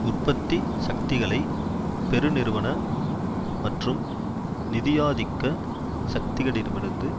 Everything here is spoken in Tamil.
உற்பத்தி சக்திகளை பெருநிறுவன மற்றும் நிதியாதிக்க சக்திகளிடமிருந்து